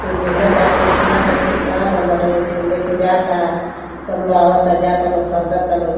केहू बेचाता केहू किनता केहू खड़ा भइल बाटे केहू लेके जाता सब लोग आवता-जाता लोग खरदता लोग।